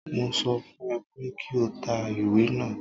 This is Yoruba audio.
Mo sọ fún ẹ pé kí o ta ìwé náà.